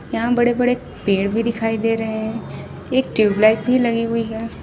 यहां बड़े बड़े पेड़ भी दिखाई दे रहे हैं एक ट्यूबलाइट भी लगी हुई।